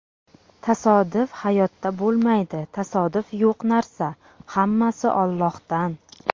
Tasodif hayotda bo‘lmaydi, tasodif yo‘q narsa, hammasi Allohdan.